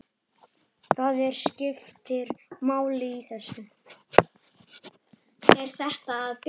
Það skiptir máli í þessu.